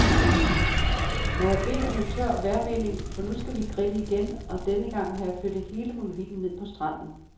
Må jeg bede om en tør vejrmelding, for nu skal vi grille igen, og denne gang har jeg flyttet hele molevitten ned på stranden.